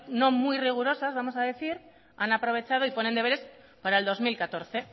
no muy rigurosas vamos a decir han aprovechado y ponen deberes para el dos mil catorce